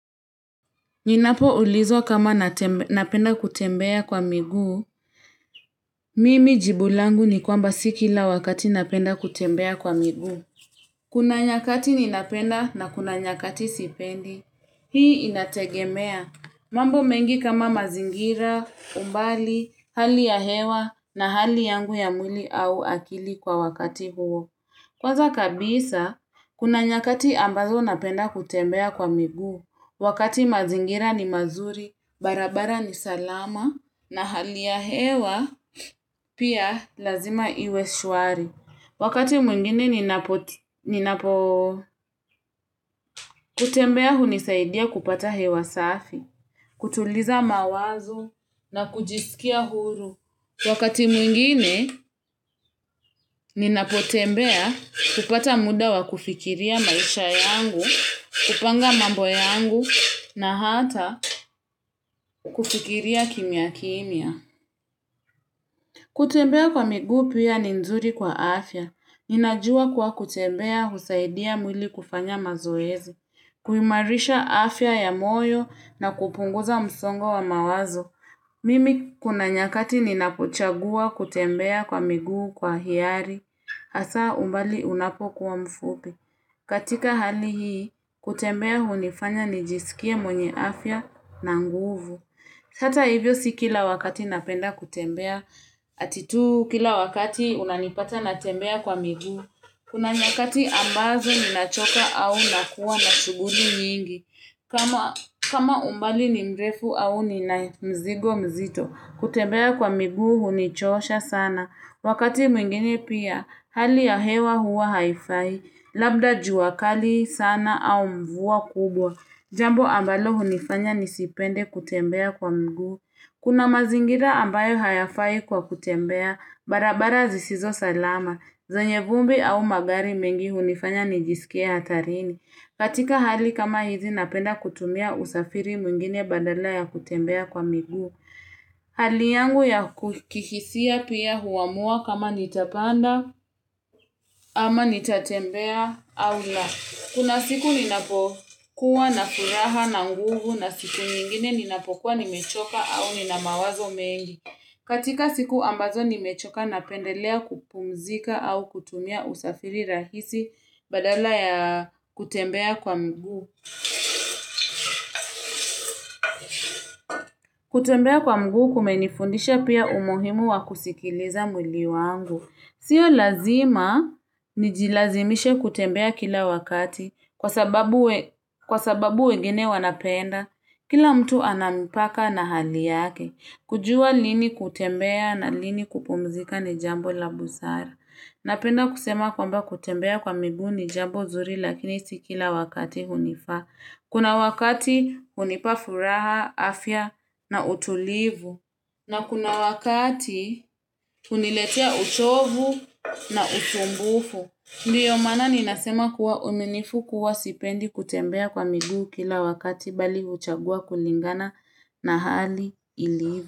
Ninapoulizwa kama napenda kutembea kwa migu, mimi jibu langu ni kwamba si kila wakati napenda kutembea kwa migu. Kuna nyakati ninapenda na kuna nyakati sipendi, hii inategemea. Mambo mengi kama mazingira, umbali, hali ya hewa na hali yangu ya mwili au akili kwa wakati huo. Kwanza kabisa, kuna nyakati ambazo napenda kutembea kwa miguu, wakati mazingira ni mazuri, barabara ni salama, na hali ya hewa, pia lazima iwe shuari. Wakati mwingine ninapotembea kutembea hunisaidia kupata hewa safi, kutuliza mawazo na kujisikia huru. Wakati mwingine ninapotembea kupata muda wa kufikiria maisha yangu, kupanga mambo yangu na hata kufikiria kimia kimia. Kutembea kwa miguu pia ni nzuri kwa afya. Ninajua kwa kutembea husaidia mwili kufanya mazoezi. Kuimarisha afya ya moyo na kupunguza msongo wa mawazo. Mimi kuna nyakati ninapochagua kutembea kwa miguu kwa hiari. Asa umbali unapo kuwa mfupi. Katika hali hii, kutembea hunifanya nijisikie mwenye afya na nguvu. Hata hivyo si kila wakati napenda kutembea, atitu kila wakati unanipata natembea kwa migu, kuna nyakati ambazo ninachoka au nakuwa na shuguli nyingi, kama umbali ni mrefu au ni na mzigo mzito, kutembea kwa migu hunichosha sana, wakati mwingine pia hali ya hewa huwa haifai, labda jua kali sana au mvua kubwa, Jambo ambalo hunifanya nisipende kutembea kwa mguu. Kuna mazingira ambayo hayafai kwa kutembea, barabara zisizo salama. Zanye vumbi au magari mengi hunifanya nijisikie hatarini. Katika hali kama hizi napenda kutumia usafiri mwingine badala ya kutembea kwa miguu. Hali yangu ya ku kihisia pia huamua kama nitapanda ama nitatembea au na. Kuna siku ninapokuwa na furaha na nguvu na siku nyingine ninapokuwa nimechoka au nina mawazo mengi. Katika siku ambazo nimechoka napendelea kupumzika au kutumia usafiri rahisi badala ya kutembea kwa miguu. Kutembea kwa mgu kumenifundisha pia umuhimu wa kusikiliza mwli wangu. Sio lazima nijilazimishe kutembea kila wakati kwa sababu wegine wanapenda. Kila mtu ana mipaka na hali yake. Kujua lini kutembea na lini kupumzika ni jambo la busara. Napenda kusema kwamba kutembea kwa migu ni jambo zuri lakini sibkila wakati hunifa. Kuna wakati hunipabfuraha, afya na utulivu. Na kuna wakati huniletea uchovu na usumbufu. Ndiyo maana ninasema kuwa uminifu kuwa sipendi kutembea kwa miguu kila wakati bali uchagua kulingana na hali ilivo.